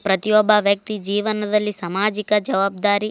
ಪ್ರತಿಯೊಬ್ಬ ವ್ಯಕ್ತಿ ಜೀವನದಲ್ಲಿ ಸಾಮಾಜಿಕ ಜವಾಬ್ದಾರಿ.